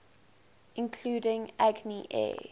including agni air